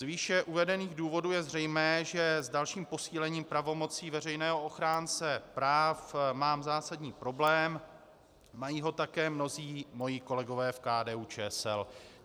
Z výše uvedených důvodů je zřejmé, že s dalším posílením pravomocí veřejného ochránce práv mám zásadní problém, mají ho také mnozí moji kolegové v KDU-ČSL.